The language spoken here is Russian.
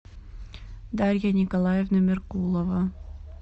дарья николаевна меркулова